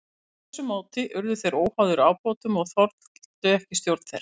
Með þessu móti urðu þeir óháðir ábótunum og þoldu ekki stjórn þeirra.